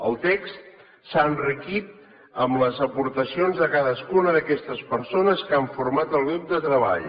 el text s’ha enriquit amb les aportacions de cadascuna d’aquestes persones que han format el grup de treball